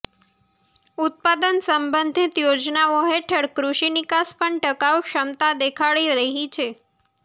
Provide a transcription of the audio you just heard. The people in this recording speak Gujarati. ઉત્પાદન સંબંધિત યોજનાઓ હેઠળ કૃષિ નિકાસ પણ ટકાઉ ક્ષમતા દેખાડી રહી છે